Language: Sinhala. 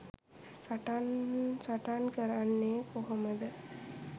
සටන් සටන් කරන්නේ කොහොමද?